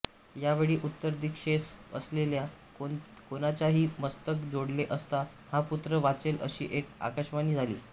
या वेळी उत्तरदिशेस असलेल्या कोणाचेही मस्तक जोडले असता हा पुत्र वाचेल अशी एक आकाशवाणी झाली